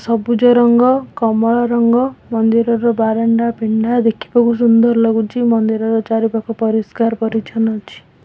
ସବୁଜ ରଙ୍ଗ କମଳା ରଙ୍ଗ ମନ୍ଦିରର ବାରଣ୍ଡା ପିଣ୍ଡା ଦେଖିବାକୁ ସୁନ୍ଦର ଲାଗୁଛି ମନ୍ଦିରର ଚାରିପାଖ ପରିସ୍କାର ପରିଚ୍ଛନ୍ନ ଅଛି।